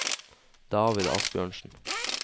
David Asbjørnsen